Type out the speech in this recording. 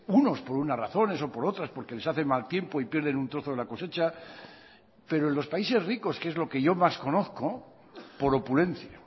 unos por unas razones o por otras porque les hace mal tiempo y pierden un trozo de la cosecha pero en los países ricos que es lo que yo más conozco por opulencia